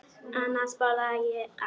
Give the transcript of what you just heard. Annars borða ég allt.